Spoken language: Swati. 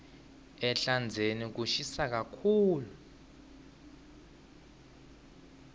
ehlandzeni kushisa kakhulu